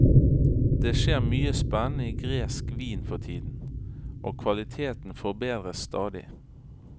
Det skjer mye spennende i gresk vin for tiden, og kvaliteten forbedres stadig.